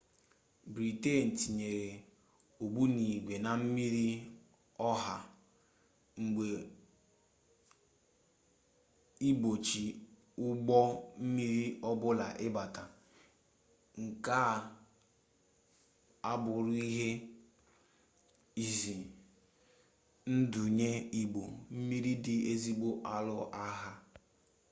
briten tinyere ogbunigwe na mmiri ọha mba igbochi ụgbọ mmiri ọbụla ịbata nke a abụrụ ihe ize ndụ nye ụgbọ mmiri ndị esoghi alụ agha